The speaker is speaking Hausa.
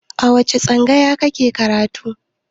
A wace tsangaya ka ke karatu?